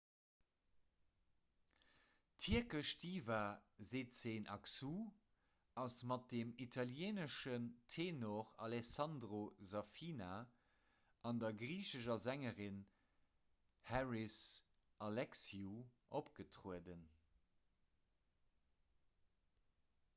d'tierkesch diva sezen aksu ass mat dem italieeneschen tenor alessandro safina an der griichescher sängerin haris alexiou opgetrueden